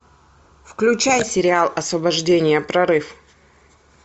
включай сериал освобождение прорыв